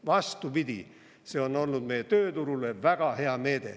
Vastupidi, see on olnud meie tööturule väga hea meede.